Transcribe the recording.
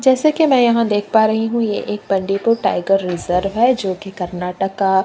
जैसा की मै यहाँ देख पा रही हूँ यह एक बंडीपुर टाइगर रिज़र्व है जो कि कर्नाटक का --